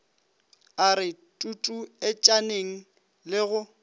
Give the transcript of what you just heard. a re tutuetšaneng le go